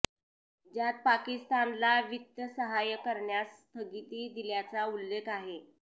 ज्यात पाकिस्तानला वित्तसहाय्य करण्यास स्थगिती दिल्याचा उल्लेख आहे